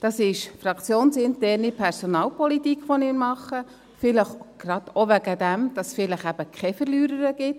Es ist fraktionsinterne Personalpolitik, die wir machen, vielleicht gerade auch, damit es vielleicht eben keine Verliererin gibt.